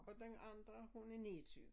Og den andre hun er 29